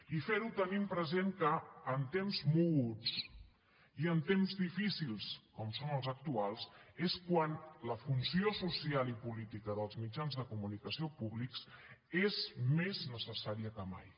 i fer ho tenint present que en temps moguts i en temps difícils com són els actuals és quan la funció social i política dels mitjans de comunicació públics és més necessària que mai